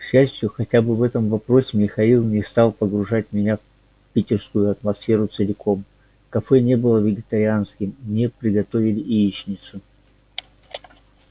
к счастью хотя бы в этом вопросе михаил не стал погружать меня в питерскую атмосферу целиком кафе не было вегетарианским мне приготовили яичницу